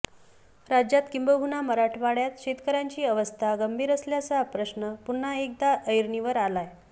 राज्यात किंबहुना माराठवडयात शेतकऱ्यांची अवस्था गंभीर असल्याचा प्रश्न पुन्हा एकदा ऐरणीवर आलाय